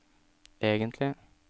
egentlig